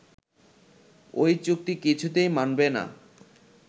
ওই চুক্তি কিছুতেই মানবে না